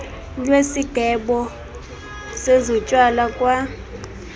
lwesigqeba sezotywala kwa